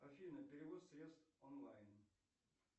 афина перевод средств онлайн